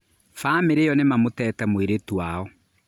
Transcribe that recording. Bamĩrĩ ĩyo nĩmamũtete mũirĩtu wao